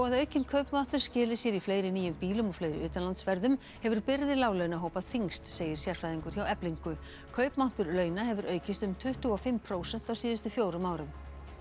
að aukinn kaupmáttur skili sér í fleiri nýjum bílum og fleiri utanlandsferðum hefur byrði láglauna hópa þyngst segir sérfræðingur hjá Eflingu kaupmáttur launa hefur aukist um tuttugu og fimm prósent á síðustu fjórum árum